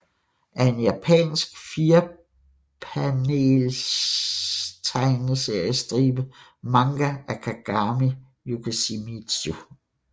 er en japansk firepanelstegneseriestribe manga af Kagami Yoshimizu